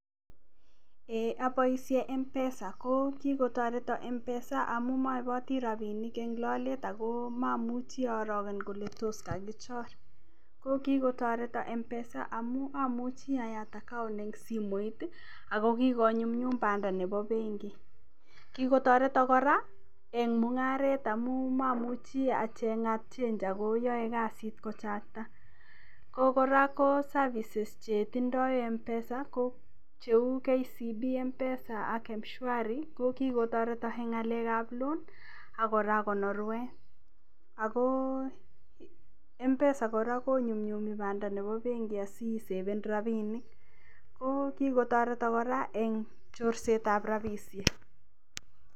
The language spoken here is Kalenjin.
Eiy aboisien M-Pesa ko kigotoreton M-Pesa amun moiboti rabinik en lolet ago momuchi oroken ale tos kagichor ko kigotoreton M-Pesa ago amuchi ayat account en simoit ago kigonyumnyum banda nebo benki kigotoreton kora en mung'aret amun momuche acheng'at change ago yae kasit kochakta ago kora ko services che tindo M-Pesa ko cheu KCB M-Pesa ak M-Shwari ko kigotoreton en ngalek ab loan ak kora konrwet ago M-Pesa kora konyumnyumi banda nebo benki asiseven rabinik ko kitoreton kora en chorset ab rabishek.